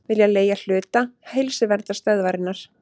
Vilja leigja hluta Heilsuverndarstöðvarinnar